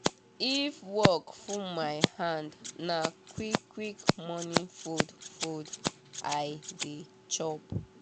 if work full my hand na quick quick morning food food i dey chop